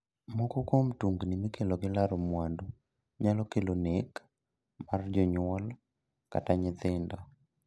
Moko kuom tungni mikelo gi laro mwandu nyalo kelo nek mar jonyuol kata nyithindo.